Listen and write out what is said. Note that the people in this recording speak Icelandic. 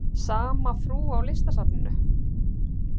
Sama frú á Listasafninu?